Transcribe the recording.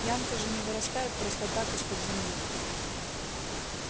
янки же не вырастают просто так из-под земли